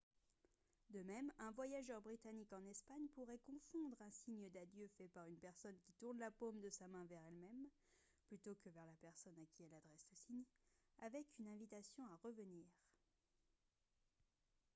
de même un voyageur britannique en espagne pourrait confondre un signe d'adieu fait par une personne qui tourne la paume de sa main vers elle-même plutôt que vers la personne à qui elle adresse le signe avec une invitation à revenir